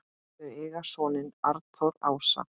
Þau eiga soninn Arnþór Ása.